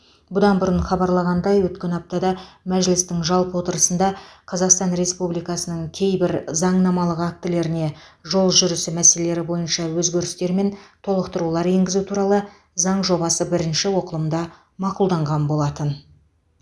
бұдан бұрын хабарланғандай өткен аптада мәжілістің жалпы отырысында қазақстан республикасының кейбір заңнамалық актілеріне жол жүрісі мәселелері бойынша өзгерістер мен толықтырулар енгізу туралы заң жобасы бірінші оқылымда мақұлданған болатын